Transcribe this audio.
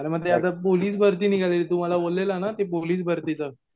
अरे म ते आता पोलीस भरती निघालीये तू मला बोललेला ना ते पोलीस भारतीच